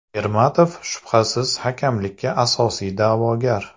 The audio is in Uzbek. Ermatov shubhasiz hakamlikka asosiy da’vogar.